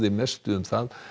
mestu um